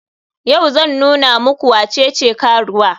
Yau zan nuna muku wacece karuwa.